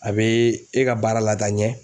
A be e ka baara la taa ɲɛ.